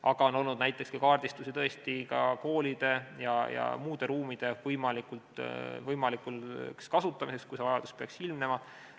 Aga on tehtud näiteks kaardistusi tõesti ka koolide ja muude ruumide võimalikuks kasutamiseks, kui see vajadus peaks ilmnema.